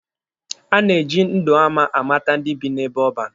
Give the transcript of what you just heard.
A na-eji ndụ ama amata ndị bi n'ebe ọban.